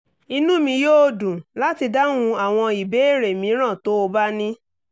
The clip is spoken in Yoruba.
inú mi yóò dùn láti dáhùn àwọn ìbéèrè mìíràn tó o bá ní